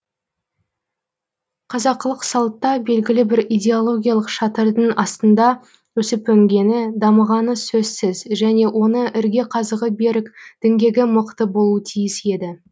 қазақылық салтта белгілі бір идеологиялық шатырдың астында өсіп өнгені дамығаны сөзсіз және оның ірге қазығы берік діңгегі мықты болуы тиіс еді